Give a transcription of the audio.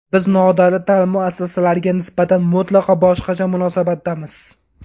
Biz nodavlat ta’lim muassasalariga nisbatan mutlaqo boshqacha munosabatdamiz.